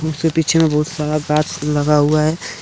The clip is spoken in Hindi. जिसके पीछे में बहुत सारा घास लगा हुआ है।